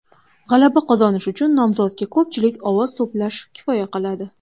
G‘alaba qozonish uchun nomzodga ko‘pchilik ovoz to‘plash kifoya qiladi.